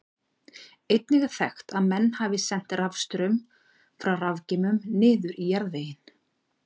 Einnig er þekkt að menn hafi sent rafstraum frá rafgeymum niður í jarðveginn.